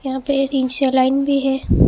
यहां पे एक लाइन भी है।